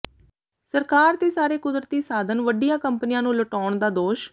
ਸਰਕਾਰ ਤੇ ਸਾਰੇ ਕੁਦਰਤੀ ਸਾਧਨ ਵੱਡੀਆਂ ਕੰਪਨੀਆਂ ਨੂੰ ਲੁਟਾਉਣ ਦਾ ਦੋਸ਼